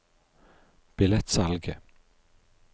billettsalget